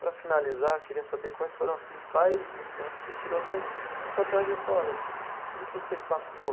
Para finalizar, eu queria saber quais foram as principais lições que você tirou da da sua trajetória, assim, tudo que você passou.